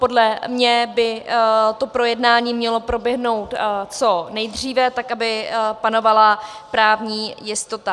Podle mě by to projednání mělo proběhnout co nejdříve, tak aby panovala právní jistota.